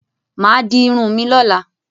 Máa di irun mi lọ́la.